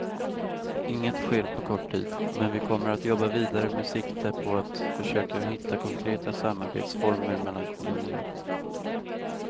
Inget sker på kort tid, men vi kommer att jobba vidare med sikte på att försöka hitta konkreta samarbetsformer mellan kommunerna.